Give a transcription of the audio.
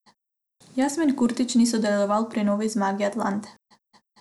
Jasmin Kurtić ni sodeloval pri novi zmagi Atalante.